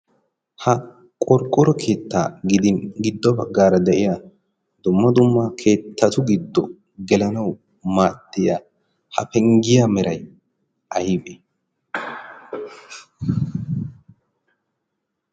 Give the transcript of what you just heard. ha qorqqoro keettaa gidin giddo baggaara de7iya domma dummaa keettatu giddo gelanawu maattiya ha penggiyaa merai aibe?